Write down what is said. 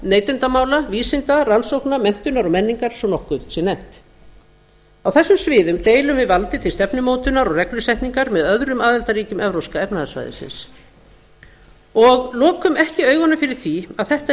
neytendamála vísinda rannsókna menntunar og menningar svo nokkuð sé nefnt á þessum sviðum deilum við valdi til stefnumótunar og reglusetningar með öðrum aðildarríkjum evrópska efnahagssvæðið og lokum ekki augunum fyrir því að þetta er